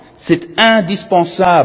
C'est indispensable.